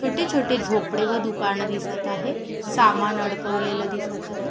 छोटे छोटे झोपडे व दुकान दिसत आहे सामान अडकवलेल दिसत आहे.